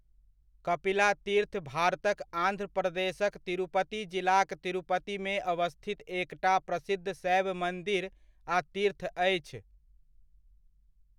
कपिला तीर्थ भारतक आन्ध्र प्रदेशक तिरुपति जिलाक तिरुपतिमे अवस्थित एकटा प्रसिद्ध शैव मन्दिर आ तीर्थ अछि।